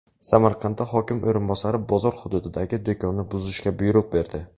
Samarqandda hokim o‘rinbosari bozor hududidagi do‘konni buzishga buyruq berdi.